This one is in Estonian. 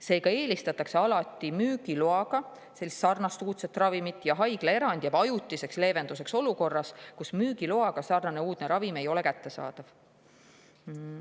Seega eelistatakse alati sarnast uudset müügiloaga ravimit ja haiglaerand jääb ajutiseks leevenduseks olukorras, kus sarnane uudne müügiloaga ravim ei ole kättesaadav.